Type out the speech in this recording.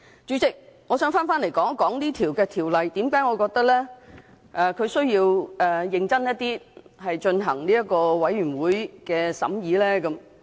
主席，我想說回為甚麼我認為《條例草案》應認真地由法案委員會進行審議。